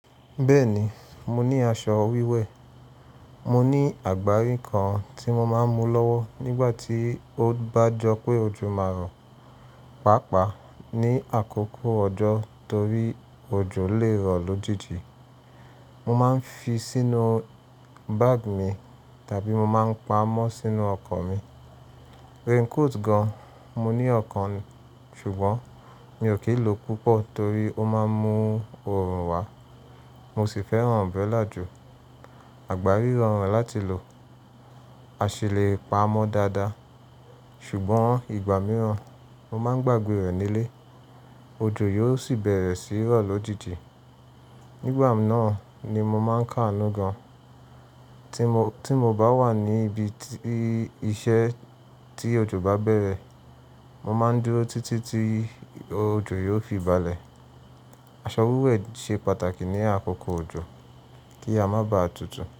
Bẹ́ẹ̀ni, mo ní aṣọ wíwẹ̀. Mo ní àgbá rí kan tí mo máa ń mú lọ́wọ́ nígbà tí ó bá jọ pé ojú máa rọ, pàápàá ní àkókò ọjọ́ torí ojo lè rọ lójijì. Mo máa ń fi sínú bag mi tàbí mo máa ń pa ámọ̀ sínú ọkọ̀ mi. Rain coat gan, mo ní ọ̀kan ṣùgbọ́n mi ò kí ń lò púpọ̀ torí ó máa ń mú oorun wá. Mo sì fẹ́ràn umbrella jù. Àgbá rí rọrùn láti lò, a sì le pa ámọ̀ dáadáa. Ṣùgbọ́n ìgbà mìíràn mo máa ń gbàgbé rẹ̀ nílé, ojú yóò sì bẹ̀rẹ̀ sí rọ lójijì. Nígbà náà ni mo máa ń káàánú gan. Tí mo bá wà ní ibi iṣẹ́ tí ojo bá bẹ̀rẹ̀, mo máa ń dúró títí tí ojo yóò fi balẹ̀. Aṣọ wíwẹ̀ ṣe pàtàkì ní àkókò ojo kí a má ba à tutù.